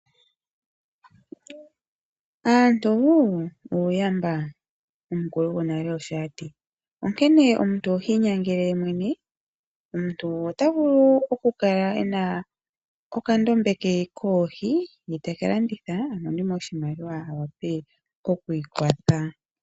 Aantu uuyamba omukulu gonale osho ati onkene omuntu ohii nyangele ye mwene, omuntu gumwe ota vulu okukala ena okandombe ke koohi ye taka landitha a monemo oshimaliwa a wape okwii kwatha.